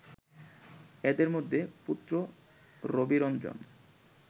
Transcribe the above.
এদের মধ্যে পুত্র রবিরঞ্জন